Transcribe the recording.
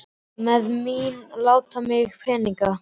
Með því að láta mig hafa peninga?